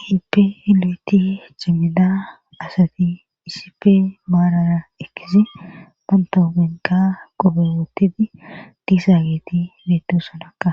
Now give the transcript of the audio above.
Keelpe leeti cemida asati iisipe maarara ekizi bantahopenka qobewottidi tisaageti metusonakka